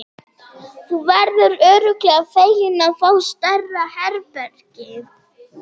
Þú verður örugglega feginn að fá stærra herbergi.